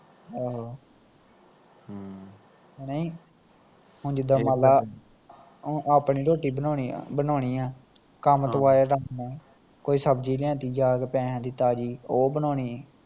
ਆਹੋ ਆਹੋ ਹਮ ਹੁਣ ਜਿਦਾਂ ਮਨਲਾ ਆਪਣੀ ਰੋਟੀ ਬਣਾਉਣੀ ਆ, ਬਣਾਉਣੀ ਆ ਕੰਮ ਤੋਂ ਆਇਆ ਦੱਸ ਮੈਂ ਕੋਈ ਸਬਜ਼ੀ ਲਿਆਂਦੀ ਪੈਸਿਆ ਦੀ ਜਾ ਕੇ ਤਾਜ਼ੀ ਉਹ ਬਣਾਉਣੀ